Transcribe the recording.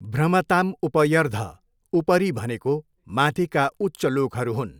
भ्रमतां उपर्यधः उपरि भनेको माथिका उच्चलोकहरू हुन्।